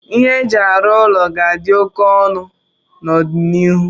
ihe eji arụ ụlọ ga-adị óké ọnụ n'ọdịnihu